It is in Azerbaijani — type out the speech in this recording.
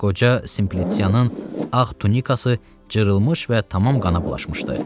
Qoca Simpliçianın ağ tunikası cırılmış və tamam qana bulaşmışdı.